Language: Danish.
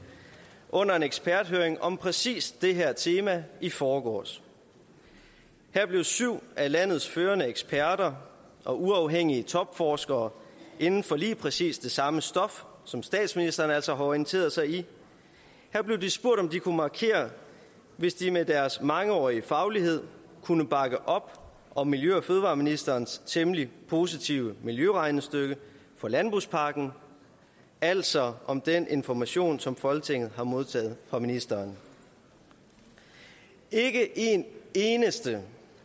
under en eksperthøring om præcis det her tema i forgårs her blev syv af landets førende eksperter og uafhængige topforskere inden for lige præcis det samme stof som statsministeren altså har orienteret sig i spurgt om de kunne markere hvis de med deres mangeårige faglighed kunne bakke op om miljø og fødevareministerens temmelig positive miljøregnestykke for landbrugspakken altså om den information som folketinget har modtaget fra ministeren ikke en eneste